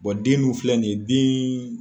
den dun filɛ nin ye den